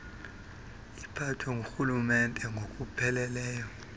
iphathwe ngurhulumente ngokupheleleyo